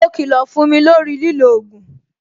Mo kilo fún mi lórí lilo ogun